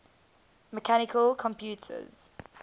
mechanical computers